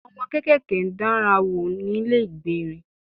Àwọn ọmọ kéékèèké ń dán ara wò nílé ìgbérin